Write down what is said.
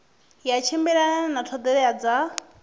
ya tshimbilelana na ṱhoḓea dza